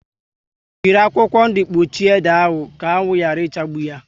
Jírí akwụkwọ ndụ kpuchie ede ahụ ka anwụ yara ichagbu yá